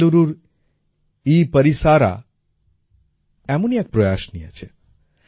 বেঙ্গালুরুর এপরিসরা এমনই এক প্রয়াস নিয়েছে